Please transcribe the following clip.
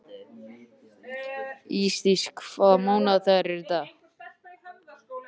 Ísdís, hvaða mánaðardagur er í dag?